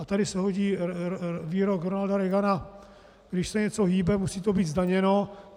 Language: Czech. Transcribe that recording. A tady se hodí výrok Ronalda Reagana: Když se něco hýbe, musí to být zdaněno.